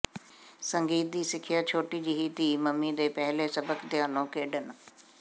ਸੰਗੀਤ ਦੀ ਸਿੱਖਿਆ ਛੋਟੀ ਜਿਹੀ ਧੀ ਮੰਮੀ ਦੇ ਪਹਿਲੇ ਸਬਕ ਪਿਆਨੋ ਖੇਡਣ